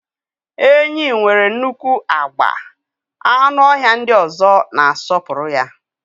Enyí nwere nnukwu agba, anụ ọhịa ndị ọzọ na-asọpụrụ ya.